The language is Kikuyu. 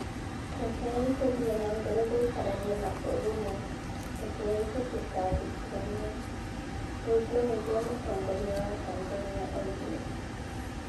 "Rekei tũthiĩ na mbere gũikarania na ũrũmwe; rekei tũtikanahĩtithanio, " ũguo nĩguo mũtongoria wa Tanzania oigire".